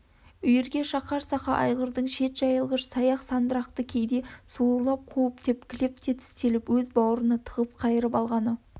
үйірге шақар сақа айғырдың шет жайылғыш саяқ-сандырақты кейде сауырлап қуып тепкілеп те тістелеп өз бауырына тығып қайырып алғаны